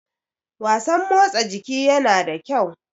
wasan motsa jiki yana da kyau